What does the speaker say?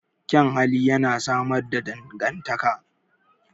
Kyan hali yana samar da dangantaka.